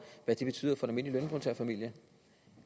hvad det betyder for en almindelig lønmodtagerfamilie